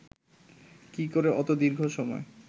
কী করে অত দীর্ঘ সময়